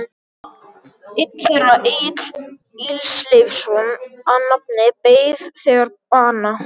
Einn þeirra, Egill Ísleifsson að nafni, beið þegar bana.